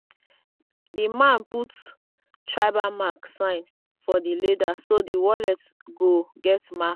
the man put tribal mark sign for the leather so the wallet go get mark.